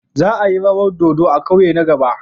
Za a yi rawan dodo a kauye na gaba.